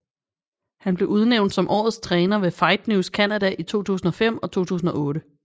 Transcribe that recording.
Han blev udnævnt som Årets Træner ved FightNews Canada i 2005 og 2008